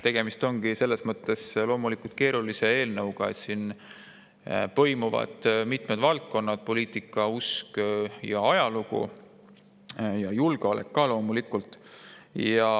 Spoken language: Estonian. Tegemist ongi selles mõttes loomulikult keerulise eelnõuga, et siin põimuvad mitmed valdkonnad: poliitika, usk ja ajalugu, samuti julgeolek, loomulikult.